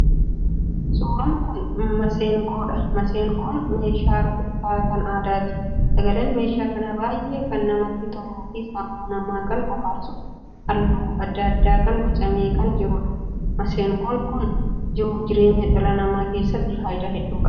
Suuraan kun maseenqoodha. Maseenqoon meeshaa rukuttaa kan aadaati. Sagaleen meeshaa kanaa baay'ee kan namatti toluu fi sammuu namaa kan bohaarsuudha. Halluu addaa addaa kan bocamee kan jiruudha. maseenqoon kan jiruuf jireenya dhala keessatti faayidaa hedduu qaba.